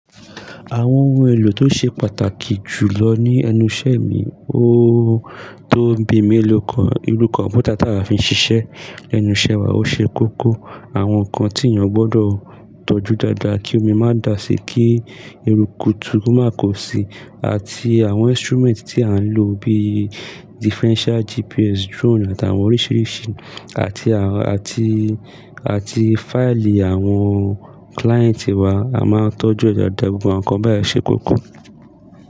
Àwọn ohun èlò tó ṣe pàtàkì jù lọ ní ẹnuṣẹ́ mi, ó tó bí i mélòó kan, irú kọ̀mpútà tá wa a fi ń ṣiṣẹ́. Ẹnu iṣẹ́ wa ó ṣe kókó. Àwọn ǹkan tí ènìyàn gbọdọ̀ tọ́jú dáadáa kí omi má dà si, kí eruku tu má kò sí, àti àwọn instrument tí à ń lò bí i differential GPS, drone àtàwọn oríṣiríṣi àti, àti, àti fáìlì àwọn client wa, a máa ń tọ́jú ẹ̀ dáadáa, gbogbo àwọn ǹkan báyẹn ṣe kókó.